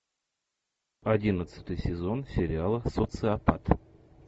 одиннадцатый сезон сериала социопат